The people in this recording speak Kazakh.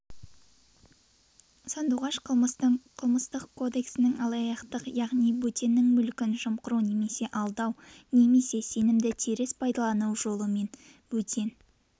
сандуғаш қылмыстық кодексінің алаяқтық яғни бөтеннің мүлкін жымқыру немесе алдау немесе сенімді теріс пайдалану жолымен бөтен